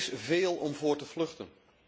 Er is veel om voor te vluchten.